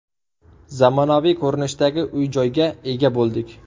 Zamonaviy ko‘rinishdagi uy-joyga ega bo‘ldik.